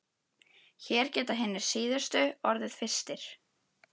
Hér geta hinir síðustu orðið fyrstir.